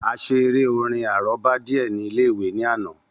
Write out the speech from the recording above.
A ṣe eré-orin àrọ́bá díè ní ilé-ìwé ní àná.